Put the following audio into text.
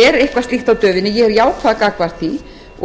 er eitthvað slíkt á döfinni ég er jákvæð gagnvart því